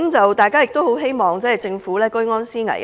我們亦很希望政府居安思危。